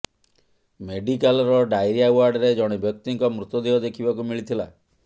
ମେଡିକାଲର ଡାଇରିଆ ୱାର୍ଡରେ ଜଣେ ବ୍ୟକ୍ତିଙ୍କ ମୃତଦେହ ଦେଖିବାକୁ ମିଳିଥିଲା